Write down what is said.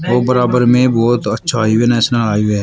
तो बराबर में बहोत अच्छा इवेन नेशनल हाईवे है।